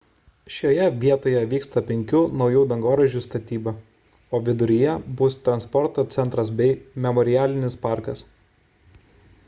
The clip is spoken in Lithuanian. šioje vietoje vyksta penkių naujų dangoraižių statyba o viduryje bus transporto centras bei memorialinis parkas